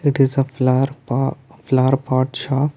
it is a flower pa flower pot shop--